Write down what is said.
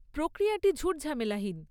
প্রক্রিয়াটি ঝুট ঝামেলাহীন।